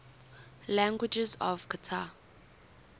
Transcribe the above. languages of qatar